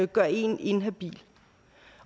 gør en inhabil